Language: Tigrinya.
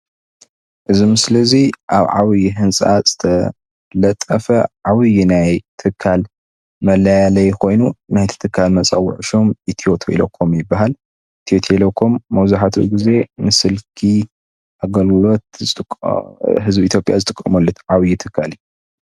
እዚ ምስሊ እዚ አብ ዓብይ ህንፃ ዝተለጠፈ ዓብይ ናይ ትካል መላለይ ኮይኑ ናይቲ ትካለ መፀውዒ ሽም አትዮ ቴሌ ኮም ይበሃል፡፡ አተዮ ቴሌ ኮም መብዛሕቲኡ ገዜ ምስ ስልኪ አገልግሎት ህዝቢ ኢትዮጰያ ዝጥቀመሉ ዓብይ ትካል እዩ፡፡